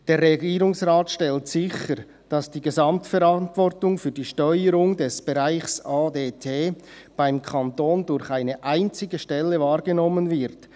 «Der Regierungsrat stellt sicher, dass die Gesamtverantwortung für die Steuerung des Bereichs ADT beim Kanton durch eine einzige Stelle wahrgenommen wird.